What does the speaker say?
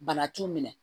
Bana t'u minɛ